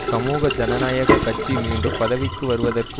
சமூக ஜனநாயக கட்சி மீண்டும் பதவிக்கு வருவதற்கு